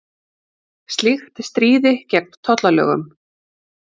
Slíkt stríði gegn tollalögum